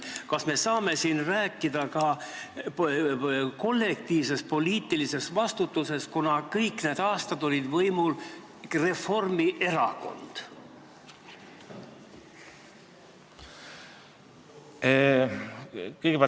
Kas me saame siin rääkida ka kollektiivsest poliitilisest vastutusest, kuna kõik need aastad oli võimul Reformierakond?